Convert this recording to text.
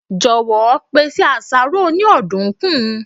Jọ̀wọ́, pèsè àsáró oní ọ̀dùnkún.